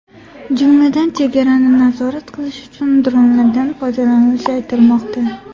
Jumladan, chegarani nazorat qilish uchun dronlardan foydalanilishi aytilmoqda.